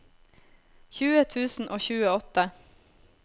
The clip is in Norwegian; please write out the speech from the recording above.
tjue tusen og tjueåtte